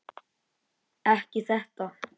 Ekki þetta.